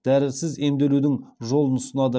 дәрісіз емделудің жолын ұсынады